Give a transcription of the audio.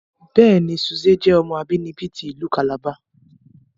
Bẹẹni, Suze jẹ ọmọ abinibi ti ilu Calabar